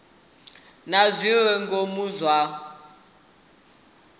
na zwi re ngomu zwa